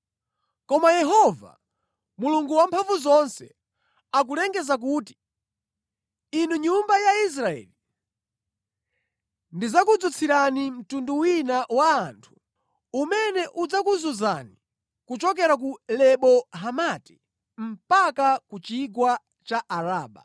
Koma Yehova Mulungu Wamphamvuzonse akulengeza kuti, “Inu nyumba ya Israeli, ndidzakudzutsirani mtundu wina wa anthu umene udzakuzunzani kuchokera ku Lebo Hamati mpaka ku Chigwa cha Araba.”